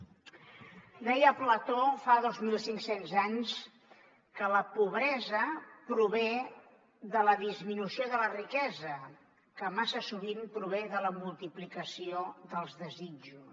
deia plató fa dos mil cinc cents anys que la pobresa prové de la disminució de la riquesa que massa sovint prové de la multiplicació dels desitjos